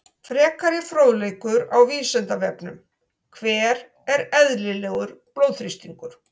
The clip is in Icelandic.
Frekari fróðleikur á Vísindavefnum: Hver er eðlilegur blóðþrýstingur?